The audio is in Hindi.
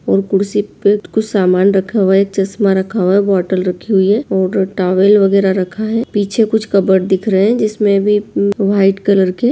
और कुर्सी पे कुछ सामान रखा हुआ है चश्मा रखा हुआ है बॉटल रखी हुई है और टावल वागेरह रखा है पीछे कुछ कबोर्ड दिख रहे है जिस में भी व्हाइट कलर की--